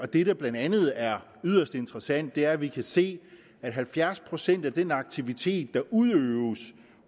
det der blandt andet er yderst interessant er at vi kan se at halvfjerds procent af den aktivitet der udøves